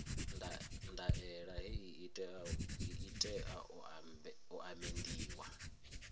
ndaela hei i tea u amendiwa